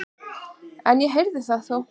En ég heyrði það þó.